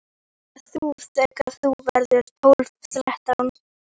Líka þú þegar þú verður tólf, þrettán.